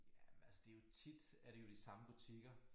Jamen altså det jo tit er det jo de samme butikker